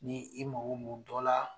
Ni i mako mun dɔ la